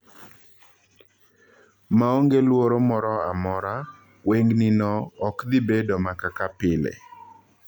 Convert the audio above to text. Maonge luoro mora mora ,wengni no okdhiibedo makaka pile.